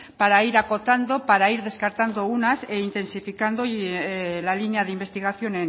para ir acotando para ir descartando unas e intensificando la línea de investigación